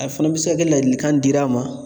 A fana bɛ se ka kɛ ladilikan dir'a ma